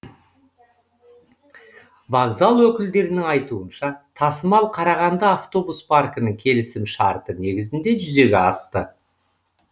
вокзал өкілдерінің айтуынша тасымал қарағанды автобус паркінің келісімшарты негізінде жүзеге асты